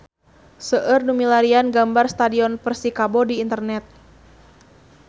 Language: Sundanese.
Seueur nu milarian gambar Stadion Persikabo di internet